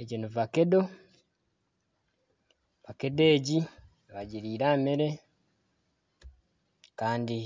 Egi ni vakedo kandi nibagirira aha mere kandi